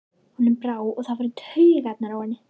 Honum brá, og það fór í taugarnar á henni.